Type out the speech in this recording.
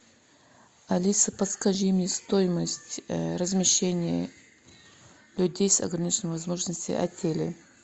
алиса подскажи мне стоимость размещения людей с ограниченными возможностями в отеле